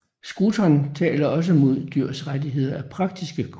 Scruton taler også mod dyrs rettigheder af praktiske grunde